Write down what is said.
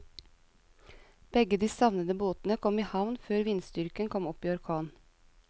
Begge de savnede båtene kom i havn før vindstyrken kom opp i orkan.